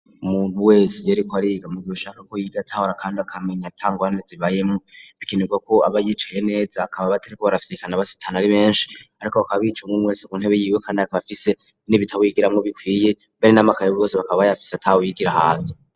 Umuntu wese iyariko ariga mu gihe ashaka ko yiga atahura kandi akamenya atangorane zibayemwo bikenerwa ko aba yicaye neza akaba batirirwa barafyikana basitana ari benshi ariko bakaba bicara umuntu wese ku ntebe yiwe akaba afise n'ibitabu yigiramwo bikwiye mbere n,amakaye bose bakaba bayafise atawigira hanze.